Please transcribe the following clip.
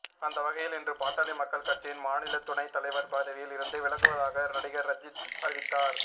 அந்தவகையில் இன்று பாட்டாளி மக்கள் கட்சியின் மாநில துணை தலைவர் பதவியில் இருந்து விலகுவதாக நடிகர் ரஞ்சித் அறிவித்தார்